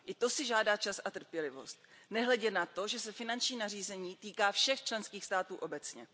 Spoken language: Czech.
I to si žádá čas a trpělivost, nehledě na to, že se finanční nařízení týká všech členských států obecně.